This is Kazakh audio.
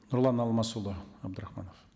нұрлан асмасұлы абдрахманов